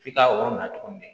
F'i ka yɔrɔ na cogo min